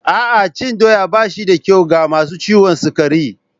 A'a, cin doya ba shi da kyau ga masu ciwon sukari